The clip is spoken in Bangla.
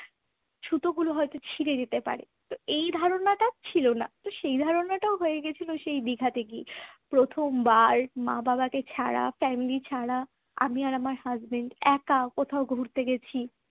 সুতোগুলো হয়তো ছিড়ে যেতে পারে তো এই ধারণাটা ছিল না এই ধারণাটাও হয়ে গিয়েছিল সেই দীঘাতে গিয়ে। প্রথমবার মা-বাবাকে ছাড়া family ছাড়া আমি আর আমার husband একা কোথাও ঘুরতে গেছি